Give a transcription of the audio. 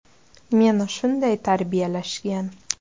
“Meni shunday tarbiyalashgan”.